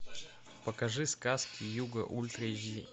покажи сказки юга ультра эйч ди